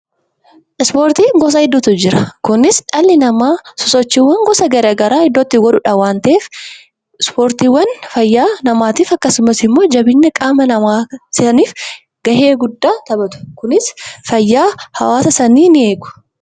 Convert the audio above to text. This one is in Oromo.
Ispoortiin gosa garagaraatu jira. Innis iddoo namni itti sosochiiwwan garagaraa godhudha. Ispoortiin fayyaa namaa eeguu fi jabeenya qaama keenyaaf gahee guddaa qaba.